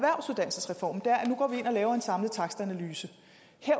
ind og laver en samlet takstanalyse